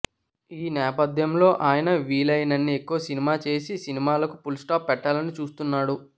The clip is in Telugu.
ఈ నేపథ్యంలో అయన వీలయినన్ని ఎక్కువ సినిమా చేసి సినిమాలకు పులిస్టాప్ పెట్టాలని చూస్తున్నాడు